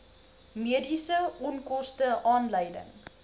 mediese onkoste aanleiding